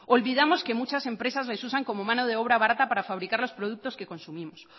olvidamos que muchas empresas les usan como mano de obra barata para fabricar los productos que consumimos